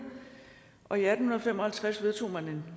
og i atten fem og halvtreds vedtog man